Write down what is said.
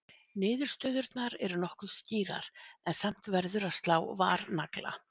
Niðurstöðurnar eru nokkuð skýrar en samt verður að slá varnagla.